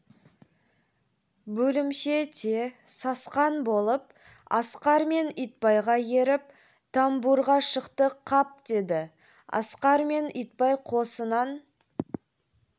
бөлімше те сасқан болып асқар мен итбайға еріп тамбурға шықты қап деді асқар мен итбай қосынан